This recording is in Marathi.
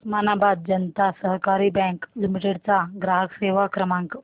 उस्मानाबाद जनता सहकारी बँक लिमिटेड चा ग्राहक सेवा क्रमांक